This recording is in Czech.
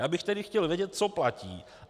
Já bych tedy chtěl vědět, co platí.